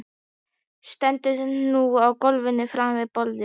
Stendur nú á gólfinu framan við borðið.